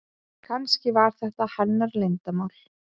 Kannski var þetta hennar leyndarmál.